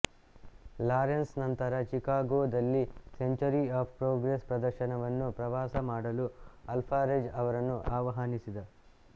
Lawrence ನಂತರ ಚಿಕಾಗೋದಲ್ಲಿ century of progress ಪ್ರದರ್ಶನವನ್ನು ಪ್ರವಾಸ ಮಾಡಲು ಅಲ್ವಾರೆಜ್ ಅವರನ್ನು ಆಹ್ವಾನಿಸಿದ